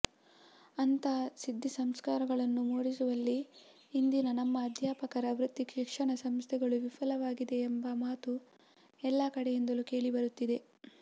ಅಂಥ ಸಿದ್ಧಿ ಸಂಸ್ಕಾರಗಳನ್ನು ಮೂಡಿಸುವಲ್ಲಿ ಇಂದಿನ ನಮ್ಮ ಅಧ್ಯಾಪಕರ ವೃತ್ತಿಶಿಕ್ಷಣಸಂಸ್ಥೆಗಳು ವಿಫಲವಾಗಿವೆಯೆಂಬ ಮಾತು ಎಲ್ಲ ಕಡೆಯಿಂದಲೂ ಕೇಳಿಬರುತ್ತಿದೆ